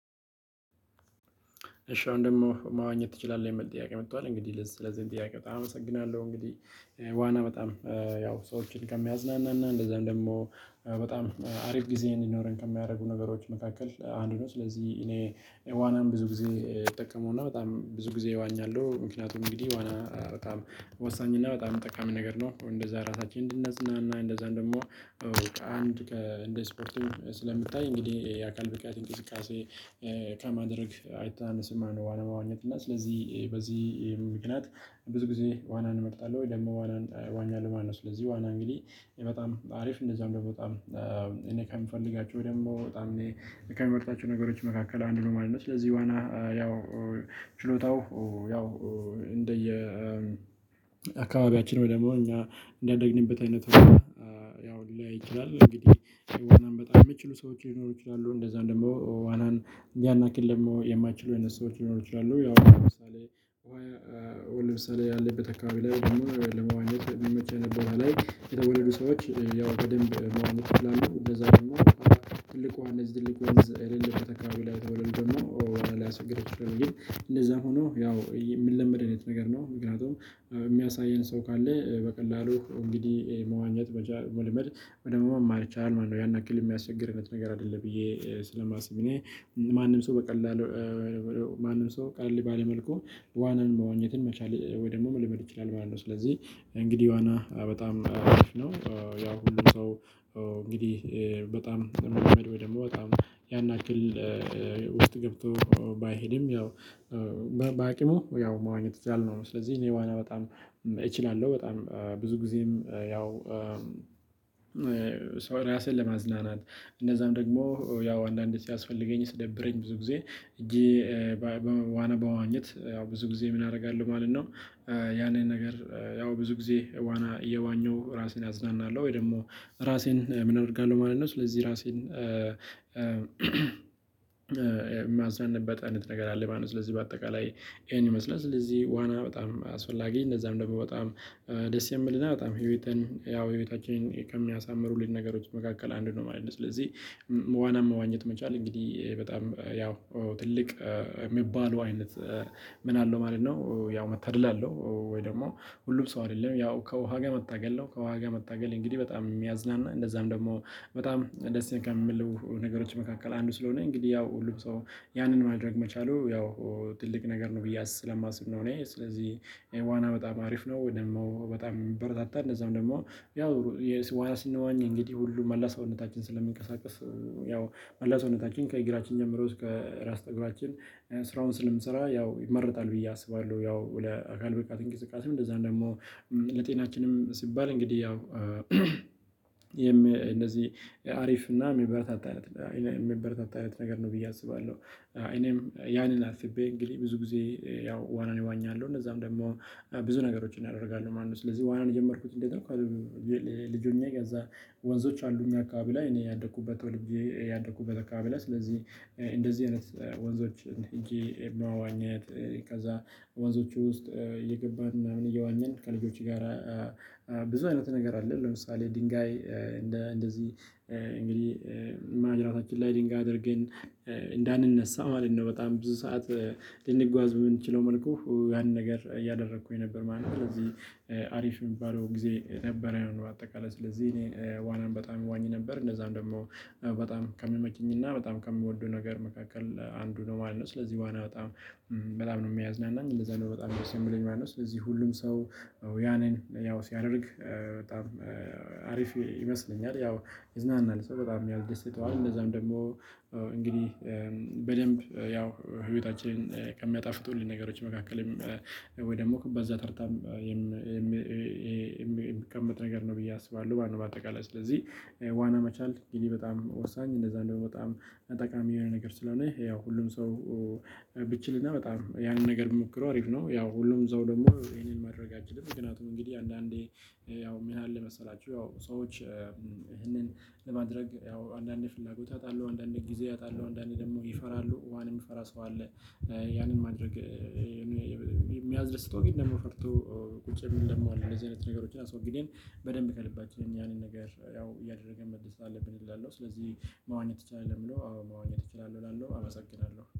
እሺ አሁን ደግሞ መዋኘት ትችላለህ? የሚል ጥያቄ መጥቷል። እንግዲህ ለዚህም ጥያቄ በጣም አመሰግናለሁ። እንግዲህ ዋና በጣም ያው ሰዎችን ከሚያዝናናና እንደዛም ደግሞ በጣም አሪፍ ጊዜ እንዲኖረን ከሚያደርጉ ነገሮች መካከል አንዱ ነው። ስለዚህ እኔ ዋናን ብዙ ጊዜ እጠቀመውና በጣም ብዙ ጊዜ እዋኛለሁ። ምክንያቱም እንግዲህ ዋና በጣም ወሳኝና በጣም ጠቃሚ ነገር ነው። እንደዛ ራሳችንን እንድናዝናና፤ እንደዛም ደግም ከአንድ ከእንደ ስፖርትም ስለሚታይ እንግዲህ የአካል ብቃት እንቅስቃሴ ከማድረግ አይተናነስም ማነው ዋና መዋኘት። እና ስለዚህ በዚህ ምክንያት ብዙ ጊዜ ዋናን እመርጣለሁ ወይ ደግሞ ዋናን እዋኛለሁ ማለትነው። ስለዚህ ዋና እንግዲህ በጣም አሪፍ እንደዚሁም ደግሞ በጣም እኔ ከምፈልጋቸው ወይ ደግሞ በጣም ከምመርጣቸው ነገሮች መካከል አንዱ ነው ማለት ነው። ስለዚህ ዋና ያው ችሎታው ያው እንደየ አካባቢያችን ወይ ደግሞ እኛ እንዳደግንበት አይነት ሁኔታ ያው ሊለያይ ይችላል። እንግዲህ ዋናን በጣም የሚችሉ ሰዎች ሊኖሩ ይችላሉ። እንደዛም ደግሞ ዋናን ያን ያክል ደግሞ የማይችሉ አይነት ሰዎች ሊኖሩ ይችላሉ። ያው ለምሳሌ ውሃ ለምሳሌ ያለበት አካባቢ ላይ ወይም ደግሞ ለመዋኘት የሚመች አይነት ቦታ ላይ የተወለዱ ሰዎች ያው በደንብ መዋኘት ይችላሉ። እንደዛ ደግሞ ትልቅ ውሃ እነዚህ ትልቅ ወንዝ የሌለበት አካባቢ ላይ የተወለዱ ደግሞ ዋና ሊያስቸግር ይችላል ግን እንደዛም ሆኖ ያው የሚለመድ አይነት ነገር ነው። ምክንያቱም የሚያሳየን ሰው ካለ በቀላሉ እንግዲህ መዋኘት መቻል መልመድ ወደ ደግሞ መማር ይቻላል ማለት ነው። ያን ያክል የሚያስቸግር አይነት ነገር አይደለም ብዬ ስለማስብ እኔ ማንም ሰው በቀላሉ ማንም ሰው ቀለል ባለ መልኩ ዋናን መዋኝነትን መቻል ወይ ደግሞ መልመድ ይችላል ማለት ነው ስለዚህ እንግዲህ ዋና በጣም አሪፍ ነው። ያው ሁሉም ሰው እንግዲህ በጣም የሚለመድ ወይ ደግሞ በጣም ያን ያክል ውስጥ ገብቶ ባይሄድም ያው በአቅሙ ያው መዋኘት ይችላል ነው። ስለዚህ እኔ ዋና በጣም እችላለሁ። በጣም ብዙ ጊዜም ያው ራስህን ለማዝናናት እንደዛም ደግሞ ያው አንዳንዴ ሲያስፈልገኝ ሲደብረኝ ብዙ ጊዜ ሄጄ ዋና በመዋኘት ያው ብዙ ጊዜ ምን አደርጋለሁ ማለት ነው ያንን ነገር ያው ብዙ ጊዜ ዋና እየዋኘሁ ራሴን አዝናናለሁ ወይ ደግሞ ራሴን ምን አደርጋለሁ ማለት ነው ስለዚህ ራሴን የማዝናናበት አይነት ነገር አለ ማለት ነው። ስለዚህ በአጠቃላይ ይሄን ይመስላል። ስለዚህ ዋና በጣም አስፈላጊ እንደዛም ደግሞ በጣም ደስ የሚልና በጣም ህይወትን ያው ህይወታችን ከሚያሳምሩልን ነገሮች መካከል አንዱ ነው ማለት ነው። ስለዚህ ዋና መዋኘት መቻል እንግዲህ በጣም ያው ትልቅ የሚባለው አይነት ምን አለው ማለት ነው ያው መታደል አለው። ወይ ደግሞ ሁሉም ሰው አይደለም። ያው ከውሃ ጋር መታገል ነው። ከውሃ ጋር መታገል እንግዲህ በጣም የሚያዝናና እንደዛም ደግሞ በጣም ደስ ከሚሉ ነገሮች መካከል አንዱ ስለሆነ እንግዲህ ያው ሁሉም ሰው ያንን ማድረግ መቻሉ ያው ትልቅ ነገር ነው ብዬ አስ ስለማስብ ነው እኔ ስለዚህ ዋና በጣም አሪፍ ነው ደግሞ በጣም የሚበረታታ እንደዛም ደግሞ ያው ዋና ስንዋኝ እንግዲህ ሁሉ መላ ሰውነታችን ስለሚንቀሳቀስ ያው መላ ሰውነታችን ከእግራችን ጀምሮ እስከ ራስ ፀጉራችን ስራውን ስለሚሰራ ያው ይመረጣል ብዬ አስባለሁ። ያው ለአካል ብቃት እንቅስቃሴም እንደዛም ደግሞ ለጤናችንም ሲባል እንግዲህ ያው እንደዚህ አሪፍ እና የሚበረታታ አይነት የሚበረታታ አይነት ነገር ነው ብዬ አስባለሁ። እኔም ያንን አስቤ እንግዲህ ብዙ ጊዜ ያው ዋናን እዋኛለሁ። እነዛም ደግሞ ብዙ ነገሮችን ያደርጋሉ ማለት ነው። ስለዚህ ዋናን የጀመርኩት እንዴት ነው ልጅ ሆኜ ከዛ ወንዞች አሉ እኛ አካባቢ ላይ እኔ ያደኩበት ተወልጄ ያደኩበት አካባቢ ላይ፤ ስለዚህ እንደዚህ አይነት ወንዞች ሄጄ መዋኘት ከዛ ወንዞቹ ውስጥ እየገባን ምናምን እየዋኘን ከልጆች ጋር ብዙ አይነት ነገር አለ። ለምሳሌ ድንጋይ እንደ እንደዚህ እንግዲህ ማጅራታችን ላይ ድንጋይ አድርገን እንዳንነሳ ማለት ነው። በጣም ብዙ ሰዓት ልንጓዝ በምንችለው መልኩ ያንን ነገር እያደረኩኝ ነበር ማለት ነው። ስለዚህ አሪፍ የሚባለው ጊዜ ነበረን በአጠቃላይ። ስለዚህ እኔ ዋና በጣም እዋኝ ነበር እንደዛም ደግሞ በጣም ከሚመችኝና በጣም ከምወደው ነገር መካከል አንዱ ነው ማለት ነው። ስለዚህ ዋና በጣም በጣም ነው የሚያዝናናኝ። እንደዛ ነው በጣም ደስ የሚለኝ ማለት ነው። ስለዚህ ሁሉም ሰው ያንን ያው ሲያደርግ በጣም አሪፍ ይመስለኛል። ያው ይዝናናል ሰው በጣም ያስደስተዋል እንደዛም ደግሞ እንግዲህ በደንብ ያው ህይወታችንን ከሚያጣፍጡልን ነገሮች መካከልም ወይ ደግሞ በዛ ተርታም የሚቀመጥ ነገር ነው ብዬ አስባለሁ በአጠቃላይ። ስለዚህ ዋና መቻል እንግዲህ በጣም ወሳኝ እንደዛም ደግሞ በጣም ጠቃሚ የሆነ ነገር ስለሆነ፤ ያው ሁሉም ሰው ቢችልና በጣም ያንን ነገር ቢሞክረው አሪፍ ነው። ያው ሁሉም ሰው ደግሞ ይሄንን ማድረግ አይችልም። ምክንያቱም እንግዲህ አንዳንዴ ያው ምን አለ መሰላችሁ ያው ሰዎች ይህንን ለማድረግ ያው አንዳንዴ ፍላጎት ያጣሉ፤ አንዳንዴ ጊዜ ያጣሉ፤ አንዳንዴ ደግሞ ይፈራሉ ውሃን የሚፈራ ሰው አለ። ያንን ማድረግ የሚያስደስተው ግን ደግሞ ፈርቶ ቁጭ የሚል ደግሞ አለ። እንደዚህ አይነት ነገሮችን አስወግደን በደንብ ከልባችን ያንን ነገር ያው እያደረግን መደሰት አለብን እላለሁ። ስለዚህ መዋኘት ትችላለህ? ለሚለው አዎ መዋኘት እችላለሁ እላለሁ። አመሰግናለሁ።